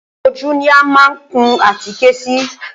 Ojú ní a má ń kun àtíké sí.